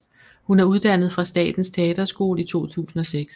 Hun er uddannet fra Statens Teaterskole i 2006